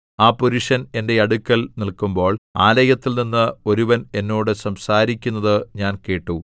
ആ പുരുഷൻ എന്റെ അടുക്കൽ നില്ക്കുമ്പോൾ ആലയത്തിൽനിന്ന് ഒരുവൻ എന്നോട് സംസാരിക്കുന്നത് ഞാൻ കേട്ടു